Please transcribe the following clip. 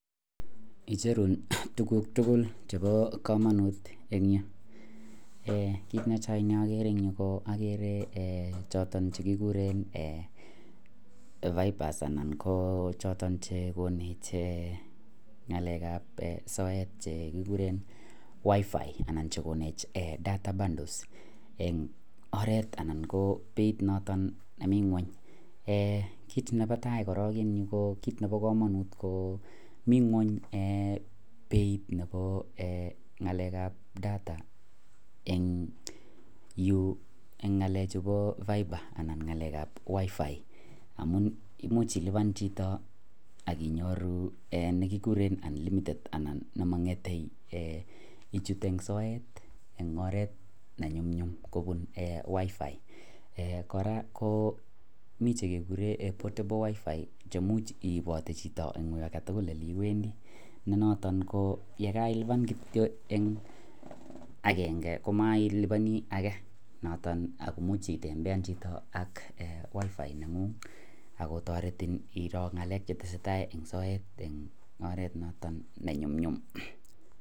Icheruu tuguk tugul chepoo kamanut eng nyuu kit netai naakere ko (fibers) anan ko chotok konech (wifi) anan ko (data bundle) eng koret anan ko beit nemii ngony mi ngony kalek ab beit ab (data) eng nyuu amuu imuch ilipan akinyoruu nemangete ichute soyet